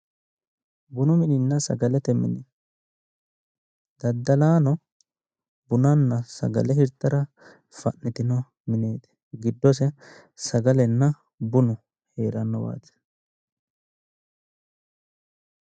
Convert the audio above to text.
Bunu mininna sagalete mine. Daddalaano bunanna sagale hirtara fa'nitino mineeti. Giddose sagalenna bunu heerannowaati.